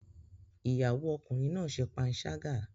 Ìyàwó Ọkùnrin náà ṣe panṣágà